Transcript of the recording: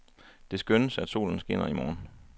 Det skønnes, at solen skinner i morgen.